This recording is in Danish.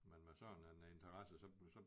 Men med sådan en interesse så bliver så